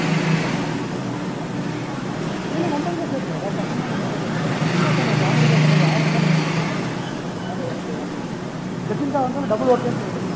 சரி இல்ல நம்ம இதுல சேத்துக்கலாம் மா, பசங்களும் நம்ம இதுல சேத்துக்கலாம், நா சும்மா சொன்னன் comedy சொன்னன், யாரு வந்தாலும் okay மா. நமக்கு எல்லாரும் okay தான். ஜெசிந்தா வந்தாலும் double okay ன்னு சொல்லீடு.